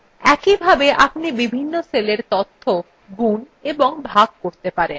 একইভাবে আপনি বিভিন্ন সেলের তথ্য গুন এবং ভাগ করতে পারেন